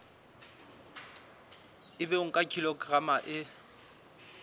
ebe o nka kilograma e